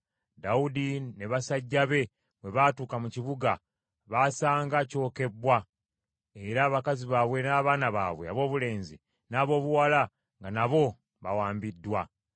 Dawudi ne basajja be bwe baatuuka mu kibuga, baasanga kyokebbwa, era abakazi baabwe n’abaana baabwe aboobulenzi n’aboobuwala nga nabo bawambiddwa.